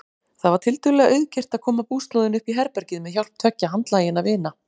Það var tiltölulega auðgert að koma búslóðinni uppí herbergið með hjálp tveggja handlaginna vina.